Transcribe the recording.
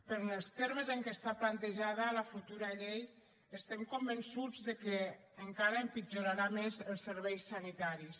però en els termes en què està plantejada la futura llei estem convençuts que encara empitjorarà més els serveis sanitaris